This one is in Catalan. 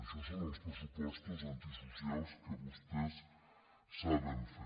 això són els pressupostos antisocials que vostès saben fer